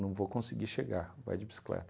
não vou conseguir chegar, vai de bicicleta.